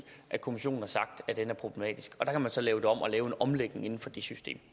kommissionen har sagt at den er problematisk man kan så lave den om og lave en omlægning inden for det system